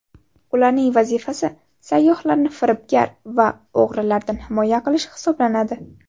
Ularning vazifasi sayyohlarni firibgar va o‘g‘rilardan himoya qilish hisoblanadi.